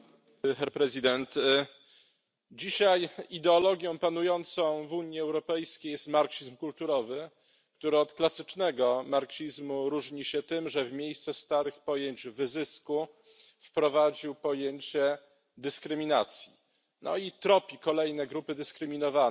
Panie Przewodniczący! Dzisiaj ideologią panującą w Unii Europejskiej jest marksizm kulturowy, który od klasycznego marksizmu różni się tym, że w miejsce starych pojęć wyzysku wprowadził pojęcie dyskryminacji i tropi kolejne grupy dyskryminowane,